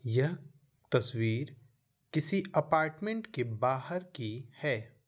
यह तस्वीर किसी अपार्टमेंट के बाहर की है।